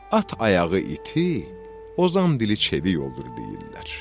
At ayağı iti, ozan dili çevik olur, deyirlər.